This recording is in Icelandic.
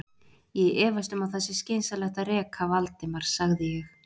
Ég efast um að það sé skynsamlegt að reka Valdimar sagði ég.